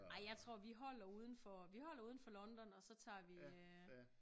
Ej jeg tror vi holder udenfor vi holder udenfor London og så tager vi øh